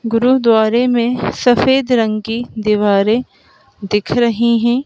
गुरुद्वारे में सफेद रंग की दीवारें दिख रहे हैं।